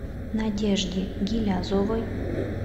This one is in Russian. надежде гилязовой